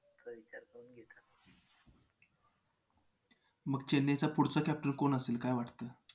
त्यांनी एका जादूगार सोबत ओळख झाली. त्याने दोघांना युक्तीमध्ये एकला आपल्याला मंत्राद्वारे या दोघांनाही एकत्र केले. आता ती कारण स्वीकाराची जादू म्हणून ओळखली जाऊ लागली.